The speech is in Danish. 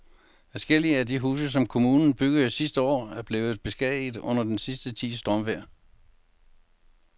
Adskillige af de huse, som kommunen byggede sidste år, er blevet beskadiget under den sidste tids stormvejr.